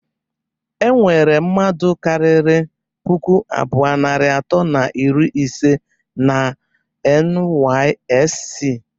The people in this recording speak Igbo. E nwere mmadụ kariri puku abụọ, narị atọ na iri ise na NYSC